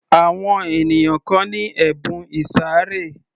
Àwọn ènìyàn kan ni ẹ̀bùn ìsàré